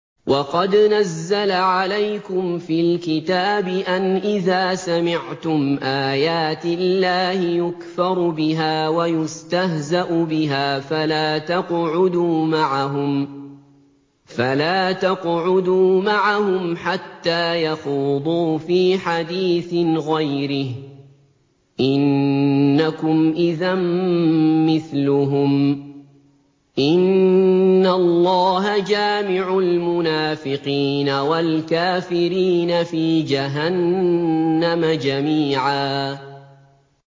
وَقَدْ نَزَّلَ عَلَيْكُمْ فِي الْكِتَابِ أَنْ إِذَا سَمِعْتُمْ آيَاتِ اللَّهِ يُكْفَرُ بِهَا وَيُسْتَهْزَأُ بِهَا فَلَا تَقْعُدُوا مَعَهُمْ حَتَّىٰ يَخُوضُوا فِي حَدِيثٍ غَيْرِهِ ۚ إِنَّكُمْ إِذًا مِّثْلُهُمْ ۗ إِنَّ اللَّهَ جَامِعُ الْمُنَافِقِينَ وَالْكَافِرِينَ فِي جَهَنَّمَ جَمِيعًا